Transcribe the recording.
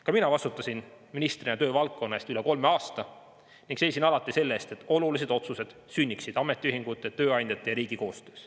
Ka mina vastutasin ministrina töövaldkonna eest üle kolme aasta ning seisin alati selle eest, et olulised otsused sünniksid ametiühingute, tööandjate ja riigi koostöös.